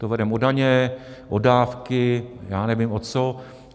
Ten vedeme o daně, o dávky, já nevím o co.